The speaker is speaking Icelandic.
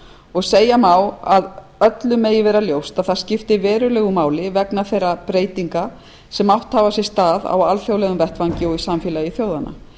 og segja má að öllum megi vera ljóst að það skiptir verulegu máli vegna þeirra breytinga sem átt hafa sér stað á alþjóðlegum vettvangi og í samfélagi þjóðanna